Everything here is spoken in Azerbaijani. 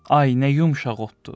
Ay nə yumşaq otdur!